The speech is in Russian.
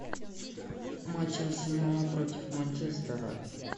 матч арсенала против манчестера